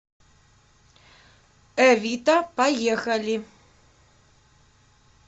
эвита поехали